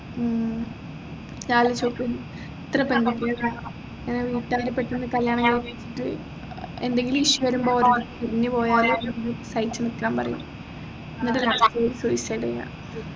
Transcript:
ഉം നീ ആലോചിച്ച് നോക്ക് എത്ര പെൺകുട്ടികളെ ഇങ്ങനെ വീട്ടുകാരെ പെട്ടെന്ന് കല്യാണം കഴിപ്പിച്ചിട്ട് എന്തെങ്കിലും issue വരുമ്പോൾ ഓടി പോയാൽ സഹിച്ച്‌ നിക്കാൻ പറയും എന്നിട്ട് suicide ചെയ്യാ